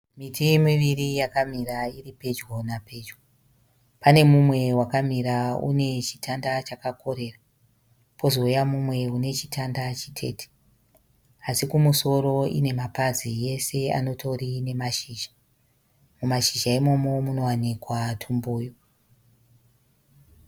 Miti miviri yakamira iri pedyo napedyo. Pane mumwe wakamira une chitanda chakakorera pozouya mumwe une chitanda chitete asi kumusoro ine mapazi yese anotori nemashizha. Mumashizha imomo munowanika tumbuyu.